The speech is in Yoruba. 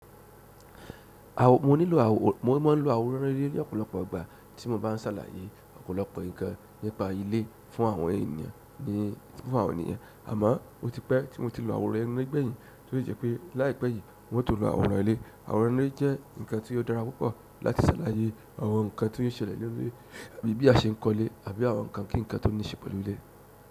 Awo, mo nílò àwò, mo ma ń lo àwòrán ilé ní ọ̀pọ̀lọpọ̀ ọgbà tí mo bá ń sàlàyé ọ̀pọ̀lọpọ̀ nǹkan nípa ilé fún àwọn ènìyàn, ní, fún àwọn ènìyàn. Àmọ́, ó ti pẹ́ tí mo ti lo àwòrán ẹnu ń gbẹ̀yìn, tó yẹ pé láìpẹ́ yìí mo tó lo àwòrán ilé. Àwòrán ilé jẹ́ nǹkan tí ó dára púpọ̀ láti sàlàyé àwọn nǹkan tó ń ṣẹlẹ̀ nínú ilé àbí bí a ṣe ń kọ́ ilé àbí àwọn nǹkan kí nǹkan tó ní ìṣẹ̀ pẹ̀lú ilé.